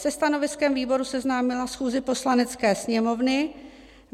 se stanoviskem výboru seznámila schůzi Poslanecké sněmovny,